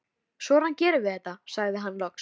Svona gerum við þetta, sagði hann loks.